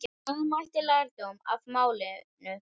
Draga mætti lærdóm af málinu.